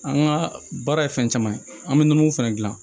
An ka baara ye fɛn caman ye an bɛ nɔnɔmugu fɛnɛ dilan